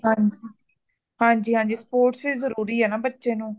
ਹਾਂਜੀ ਹਾਂਜੀ ,ਹਾਂਜੀ sports ਵੀ ਜ਼ਰੂਰੀ ਹੇਨਾ ਬੱਚੇ ਨੂੰ ਪੜਾਈ ਨਾਲ